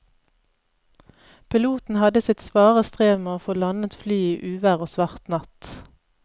Piloten hadde sitt svare strev med å få landet flyet i uvær og svart natt.